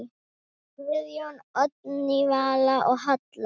Guðjón, Oddný Vala og Halla.